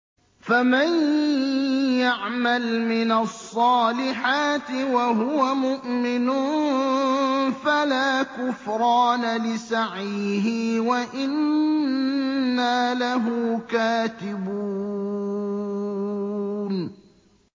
فَمَن يَعْمَلْ مِنَ الصَّالِحَاتِ وَهُوَ مُؤْمِنٌ فَلَا كُفْرَانَ لِسَعْيِهِ وَإِنَّا لَهُ كَاتِبُونَ